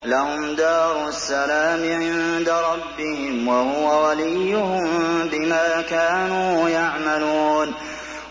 ۞ لَهُمْ دَارُ السَّلَامِ عِندَ رَبِّهِمْ ۖ وَهُوَ وَلِيُّهُم بِمَا كَانُوا يَعْمَلُونَ